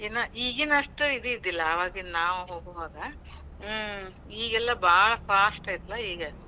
ಏನ್ ಈಗೀನಷ್ಟ ಇದ್ ಇದ್ದಿಲ್ಲಾ, ಆವಾಗ ನಾವು ಹೋಗೋವಾಗ. ಈಗೇಲ್ಲಾ ಭಾಳ್ fast ಐತೆಲ್ಲಾ ಈಗ .